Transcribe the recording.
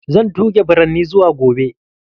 Zan tuge furanni zuwa gobe.